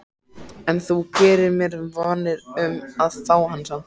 En þú gerir þér vonir um að fá hann samt?